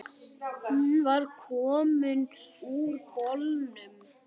Hún var komin úr bolnum.